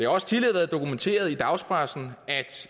også tidligere været dokumenteret i dagspressen